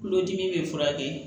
Kulodimi bɛ furakɛ